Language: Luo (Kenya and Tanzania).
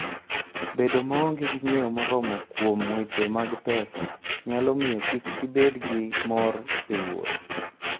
Bedo maonge gi ng'eyo moromo kuom weche mag pesa nyalo miyo kik ibed gi mor e wuoth.